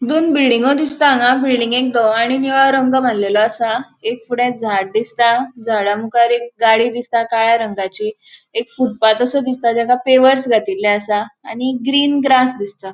दोन बिल्डिगो दिसता हांगा बिल्डिंगेक धवो आणी निळो रंग मार्लेलो असा. एक फुड़े झाड़ दिसता झाड़ा मुखार एक गाड़ी दिसता काळ्या रंगाची एक फुटपाथ असो दिसता ताका पेवर्स घातिल्ले असा आणि ग्रीन ग्रास दिसता.